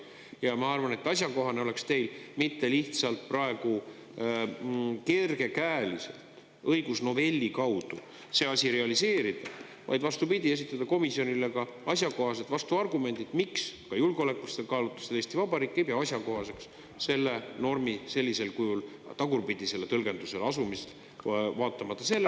Ja ma arvan, et asjakohane oleks teil mitte lihtsalt praegu kergekäeliselt õigusnovelli kaudu see asi realiseerida, vaid vastupidi, esitada komisjonile ka asjakohased vastuargumendid, miks ka julgeolekulistel kaalutlustel Eesti Vabariik ei pea asjakohaseks selle normi sellisel kujul tagurpidisele tõlgendusele asumist, vaatamata sellele …